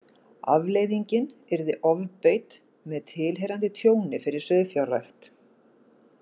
Afleiðingin yrði ofbeit með tilheyrandi tjóni fyrir sauðfjárrækt.